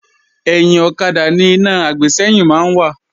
Ẹ̀yìn ọ̀kadà ni iná àgbésẹ́yìn máa ń wà